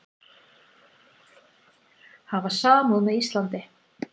Hafa samúð með Íslandi